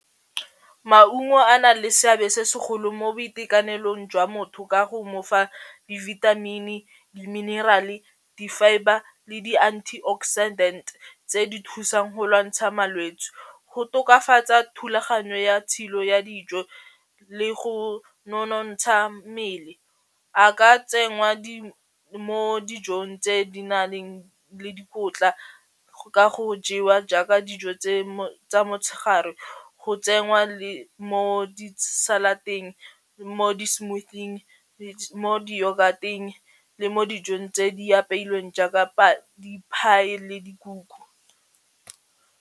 Maungo a na le seabe se segolo mo boitekanelong jwa motho ka go mo fa di-vitamin-i, di-mineral-e di-fibre le di anti-oxidant tse di thusang go lwantsha malwetsi, go tokafatsa thulaganyo ya tshilo ya dijo, le go nonontsha mmele, a ka tsenngwa mo dijong tse di na leng le dikotla go ka go jewa jaaka dijo tsa motshegare go tsenngwa le mo di salad-eng, mo di smoothie-ng mo di yoghurt-eng le mo dijong tse di apeilweng jaaka di-pie le dikuku.